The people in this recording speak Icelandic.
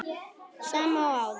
Sama og áður.